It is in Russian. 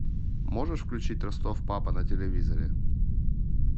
можешь включить ростов папа на телевизоре